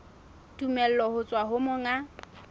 tumello ho tswa ho monga